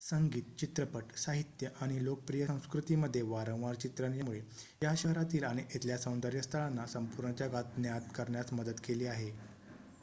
संगीत चित्रपट साहित्य आणि लोकप्रिय संस्कृती मध्ये वारंवार चित्रण यामुळे या शहरातील आणि इथल्या सौंदर्य स्थळांना संपूर्ण जगात ज्ञात करण्यास मदत केली आहे